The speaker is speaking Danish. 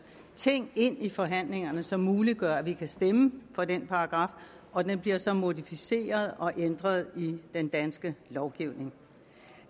ting ind i forhandlingerne som muliggør at vi kan stemme for den paragraf og den bliver så modificeret og ændret i den danske lovgivning